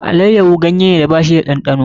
Allayyaho ganyeda ba shi da ɗanɗano